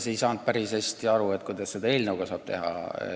Ja ma ei saanud päris hästi aru, kuidas eelnõuga saab lati alt läbi joosta.